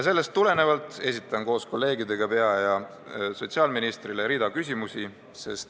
Sellest tulenevalt esitan koos kolleegidega peaministrile ja sotsiaalministrile rea küsimusi.